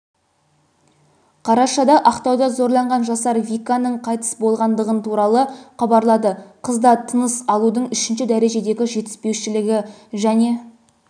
қарашада ақтауда зорланған жасар виканың қайтыс болғандығын туыстары хабарлады қызда тыныс алудың үшінші дәрежедегі жетіспеушілігі және